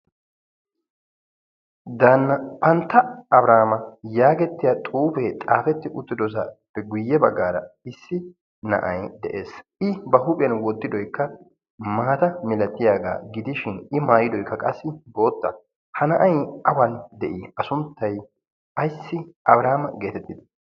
daanna pantta abrahaama yaagettiya xuufee xaafetti uttidosaappe guyye baggaara issi na'ay de'ees i ba huuphiyan woddidoykka maata milatiyaagaa gidishin i maayidoikka qassi bootta ha na'ay awan de'ii a sunttay ayssi abrahaama geetettida